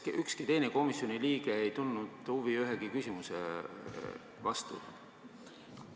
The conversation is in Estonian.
Kas ükski teine komisjoni liige ei tundnud ühegi küsimuse vastu huvi?